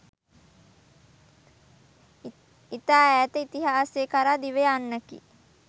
ඉතා ඈත ඉතිහාසය කරා දිව යන්නකි.